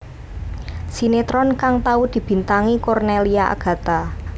Sinetron kang tau dibintangi Cornelia Agatha